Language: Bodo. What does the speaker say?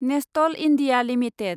Nestlé India limited